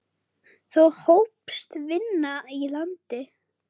Þá hófst vinna í landi.